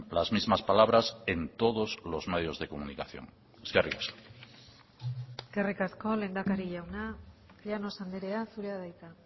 las mismas palabras en todos los medios de comunicación eskerrik asko eskerrik asko lehendakari jauna llanos andrea zurea da hitza